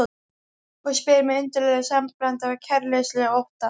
Og spyr með undarlegu samblandi af kæruleysi og ótta